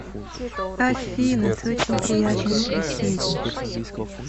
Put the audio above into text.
афина ты очень приятный собеседник